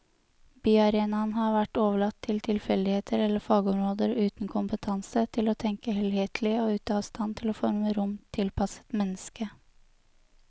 Byarenaen har vært overlatt til tilfeldigheter eller fagområder uten kompetanse til å tenke helhetlig og ute av stand til å forme rom tilpasset mennesket.